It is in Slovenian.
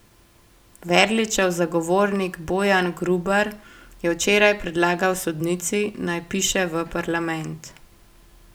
Verličev zagovornik Bojan Grubar je včeraj predlagal sodnici, naj piše v parlament.